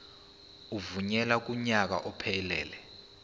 evunyelwe kunyaka ophelele